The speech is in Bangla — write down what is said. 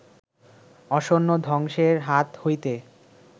আসন্ন ধ্বংসের হাত হইতে